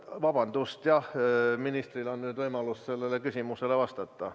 Vabandust, jah, ministril on nüüd võimalus küsimusele vastata.